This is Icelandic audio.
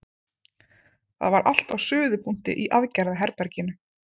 Það var allt á suðupunkti í aðgerðaherberginu.